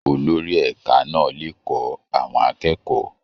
Olórí ẹ̀ka náà le kọ́ àwọn akẹ́kọ̀ọ́.